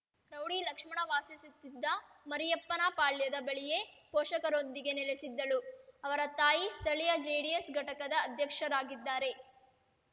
rowdy Lakshmana ವಾಸಿಸುತ್ತಿದ್ದ ಮರಿಯಪ್ಪನಪಾಳ್ಯದ ಬಳಿಯೇ ಪೋಷಕರೊಂದಿಗೆ ನೆಲೆಸಿದ್ದಳು ಅವರ ತಾಯಿ ಸ್ಥಳೀಯ ಜೆಡಿಎಸ್ ಘಟಕದ ಅಧ್ಯಕ್ಷರಾಗಿದ್ದಾರೆ